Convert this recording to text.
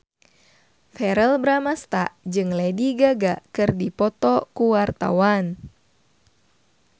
Verrell Bramastra jeung Lady Gaga keur dipoto ku wartawan